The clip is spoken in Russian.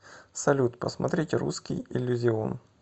салют посмотреть русский иллюзион